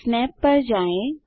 snap पर जाएँ